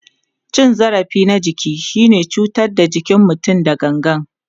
Cin zarafi na jiki shine cutar da jikin mutum da gangan.